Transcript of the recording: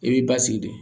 I b'i basigi de